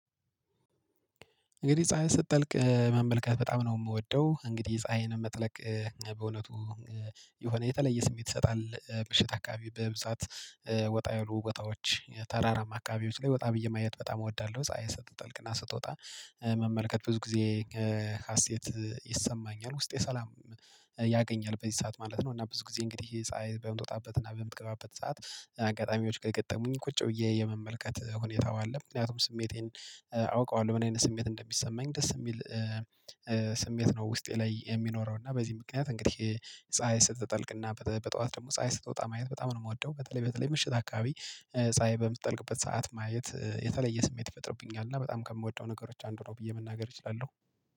እንግዲህ ፀሀይን ስትጠልቅ መመልከት በጣም ነው የምወደው እንግዲህ ፀሀይን መጥለቅ። በእውነቱ የሆነ የተለየ ስሜት ይሰጣል ምሽት አካባቢ በብዛት ወጣ ያሉ ቦታዎች ተራራ አካባቢዎች ላይ ወጣ ብየ ማየት በጣም እወዳለሁ። ፀሀይ ስትጠልቅና ስትወጣ መመልከት ብዙ ጊዜ ሀሴት ይሰማኛል ውስጤ ሰላም ያገኛል። በዚህ ሰዓት ማለት ነው እና ብዙ ጊዜ እንግዲህ ይሄ ፀሀይ በምትወጣበት እና በምትገባበት ሰዓት አጋጣሚዎች ከገጠሙኝ ቁጭ ብዬ የመመልከት ሁኔታው አለ። ምክንያቱም ስሜቴን አውቀዋለሁ ምን አይነት ስሜት እንደሚሰማኝ ደስ የሚል ስሜት ነው ውስጤ ላይ የሚኖረው። እና በዚህ ምክንያት እንግዲህ ፀሀይ ስትጠልቅና በጠዋት ደግሞ ፀሀይ ስትወጣ ማየት በጣም ነው የምወደው። በተለይ በተለይ ምሽት አካባቢ ፀሀይ በምትጠልቅበት ሰዓት ማየት የተለየ ስሜት ይፈጥርብኛል እና በጣም ከምወደው ነገሮች አንዱ ነው ብዬ መናገር እችላለሁ